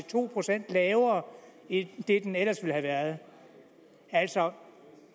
to procent lavere end det den ellers ville have været altså